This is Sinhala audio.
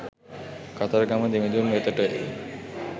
කතරගම දෙවිඳුන් වෙතටය.